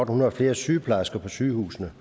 hundrede flere sygeplejersker på sygehusene